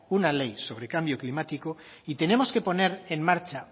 una ley sobre cambio climático y tenemos que poner en marcha